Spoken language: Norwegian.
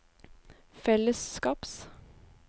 fellesskaps